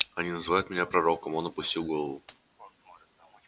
они называют меня пророком он опустил голову